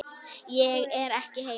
Ég er ekki heima.